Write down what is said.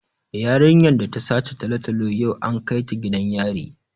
Yarinyar da ta sace talatalo yau an kai ta gidan yari